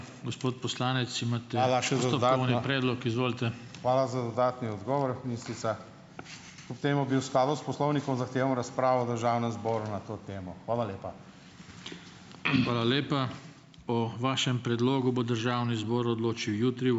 Hvala za dodatni odgovor, ministrica. Kljub temu bi v skladu s poslovnikom zahteval razpravo v državnem zboru na to temo. Hvala lepa.